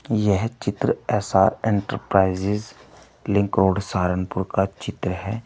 यह चित्र S R enterprises link road Saharanpur का चित्र है।